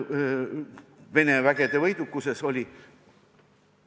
Vene vägede võidukuses oli ...